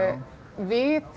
við